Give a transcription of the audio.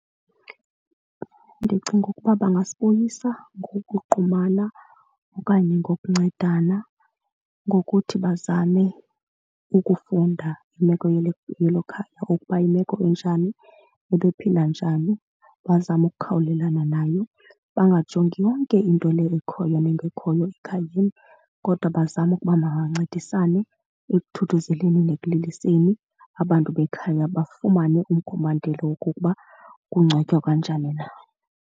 Ndicinga ukuba bangasibuyisa ngokuqumana okanye ngokuncedisana ngokuthi bazame ukufunda imeko yelo khaya ukuba yimeko enjani, bebephila njani bazame ukukhawulelana nayo. Bangajongi yonke into leyo ekhoyo nengekhoyo ekhayeni kodwa bazame ukuba mabancedisane ekuthuthuzelekani nekuliliseni abantu bekhaya, bafumane umkhombandlela wokokuba kungcwatywa kanjani na.